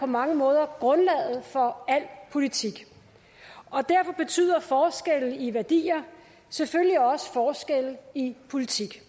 mange måder grundlaget for al politik og derfor betyder forskelle i værdier selvfølgelig også forskelle i politik